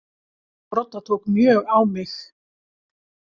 Viðtalið við Brodda tók mjög á mig.